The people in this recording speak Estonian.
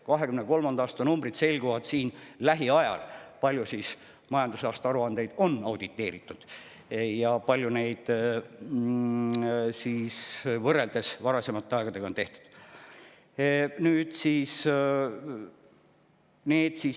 Lähiajal selguvad 2023. aasta numbrid: kui palju on majandusaasta aruandeid auditeeritud ja kui palju neid võrreldes varasemate on tehtud.